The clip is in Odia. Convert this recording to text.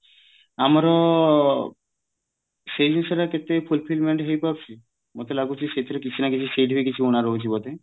ଆମର ସେଇ ଜିନିଷ ଟା ଟିକେ fulfilment ହେଇ ପାରୁଛି ମତେ ଲାଗୁଛି ସେଇଥିରେ କିଛିନା କିଛି ରହୁଛି ବୋଧେ